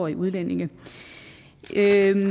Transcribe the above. at udlændingen er